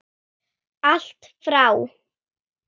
Allt frá